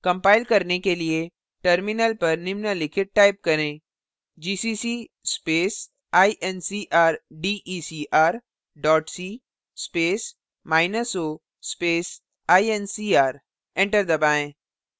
compile करने के लिए terminal पर निम्नलिखित type करें; gcc space incrdecr dot c space minus o space incr enter दबाएँ